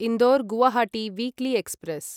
Indore Guwahati weekly express